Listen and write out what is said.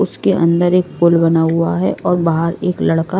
उसके अंदर एक पुल बना हुआ है और बाहर एक लड़का--